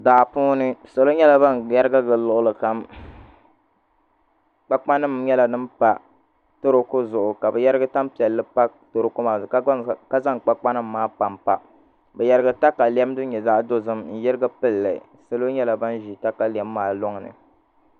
Daa puuni salo nyɛla ban yɛrigi gili luɣulikam kpakpa nim nyɛla din pa toroko zuɣu ka bi yɛrigi tanpiɛlli pa toroko maa zuɣu ka zaŋ kpakpa nim maa panpa bi yɛrigi takalɛm din nyɛ zaɣ dozim n yirigi pilli salo nyɛla ban ʒi katalɛm maa loŋni